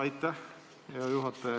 Aitäh, hea juhataja!